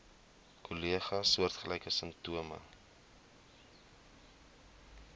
kollegas soortgelyke simptome